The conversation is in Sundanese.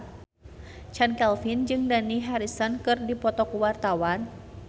Chand Kelvin jeung Dani Harrison keur dipoto ku wartawan